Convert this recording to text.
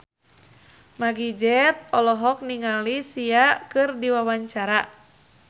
Meggie Z olohok ningali Sia keur diwawancara